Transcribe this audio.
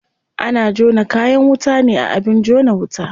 Ana jona kayan wuta ne a abin jona wuta.